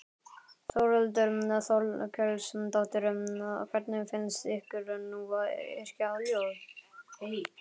Þórhildur Þorkelsdóttir: Hvernig finnst ykkur nú að yrkja ljóð?